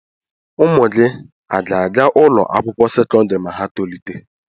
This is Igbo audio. Ụmụ gị à ga-aga ụlọ akwụkwọ sekọndrị ma ha tolite.